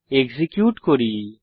execute করি এবং দেখি